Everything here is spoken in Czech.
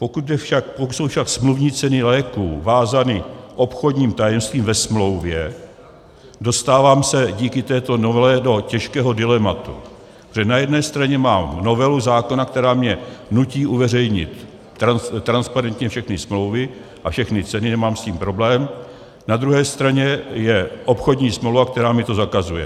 Pokud jsou však smluvní ceny léků vázány obchodním tajemstvím ve smlouvě, dostávám se díky této novele do těžkého dilematu, protože na jedné straně mám novelu zákona, která mě nutí uveřejnit transparentně všechny smlouvy a všechny ceny, nemám s tím problém, na druhé straně je obchodní smlouva, která mi to zakazuje.